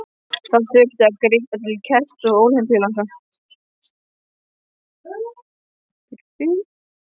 Þá þurfti að grípa til kerta og olíulampa.